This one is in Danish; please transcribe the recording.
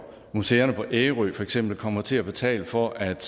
museerne på ærø for eksempel kommer til at betale for at